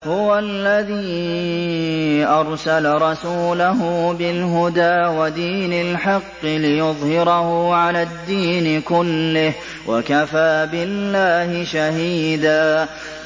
هُوَ الَّذِي أَرْسَلَ رَسُولَهُ بِالْهُدَىٰ وَدِينِ الْحَقِّ لِيُظْهِرَهُ عَلَى الدِّينِ كُلِّهِ ۚ وَكَفَىٰ بِاللَّهِ شَهِيدًا